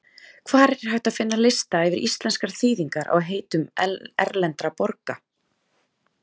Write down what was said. Hvar er hægt að finna lista yfir íslenskar þýðingar á heitum erlendra borga?